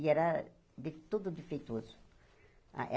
E era de tudo defeitoso.